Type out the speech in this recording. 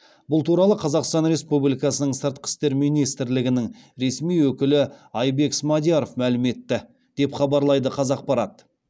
бұл туралы қазақстан республикасының сыртқы істер министрлігінің ресми өкілі айбек смадияров мәлім етті деп хабарлайды қазақпарат